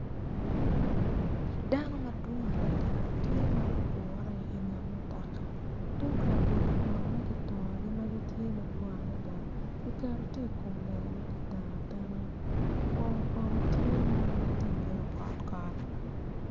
Dano ma gidwong adada gitye ma gugure i nget mutoka tug labolo kono ma kitongogi madwong adada kiketo tye i kom lela ma ki teno atena pol kono tye ma tye ka nen ma obedo kotkot.